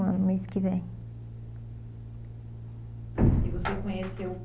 anos mês que vem. E você conheceu